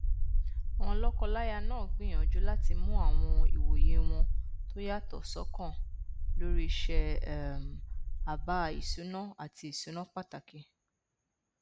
àwọn lọkọláya náà gbìyànjú láti mú àwọn ìwòye wọn tó yàtọ ṣọkan lórí i ṣíṣe um àbá ìṣúná àti ìṣúná pàtàkì